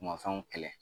Mafɛnw kɛlɛ